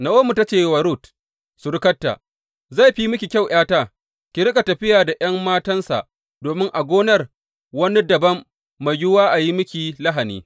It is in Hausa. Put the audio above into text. Na’omi ta ce wa Rut surukarta, Zai fi miki kyau, ’yata ki riƙa tafiya da ’yan matansa, domin a gonar wani dabam mai yiwuwa a yi miki lahani.